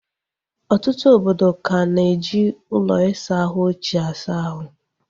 Ọtụtụ obodo ka na eji ụlọ isa ahụ ochie asa ahụ